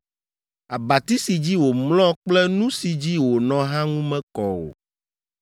“ ‘Abati si dzi wòmlɔ kple nu si dzi wònɔ hã ŋu mekɔ o,